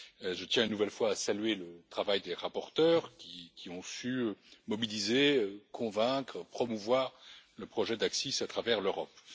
Je tiens une nouvelle fois à saluer le travail des rapporteurs qui ont su mobiliser, convaincre, promouvoir le projet d'ACCIS à travers l'Europe.